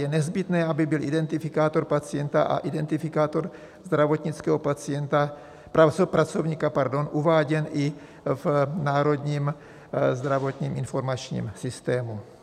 Je nezbytné, aby byl identifikátor pacienta a identifikátor zdravotnického pracovníka uváděn i v Národním zdravotním informačním systému.